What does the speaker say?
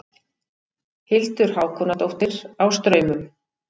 Hildur Hákonardóttir á Straumum